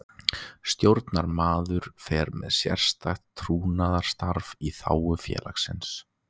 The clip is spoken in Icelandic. Stjórnarmaður fer með sérstakt trúnaðarstarf í þágu félagsins.